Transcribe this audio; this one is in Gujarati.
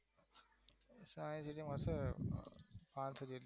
સાયન્સ સિટીમાં હશે પાંત્રીશ